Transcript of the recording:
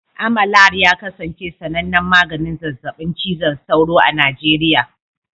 Amalar ya kasance sanannen maganin zazzabin cizon sauro a Najeriya